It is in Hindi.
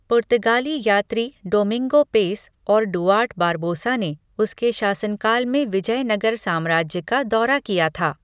पुर्तगाली यात्री डोमिंगो पेस और डुआर्ट बारबोसा ने उसके शासनकाल में विजयनगर साम्राज्य का दौरा किया था।